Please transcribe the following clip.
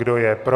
Kdo je pro?